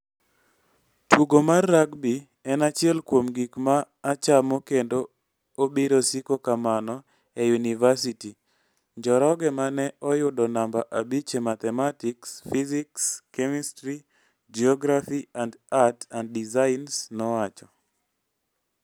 "Tugo mar rugby en achiel kuom gik ma achamo kendo obiro siko kamano e yunivasiti, "Njoroge ma ne oyudo namba abich e Mathematics, Physics, Chemistry, Geography and Art and Designs nowacho.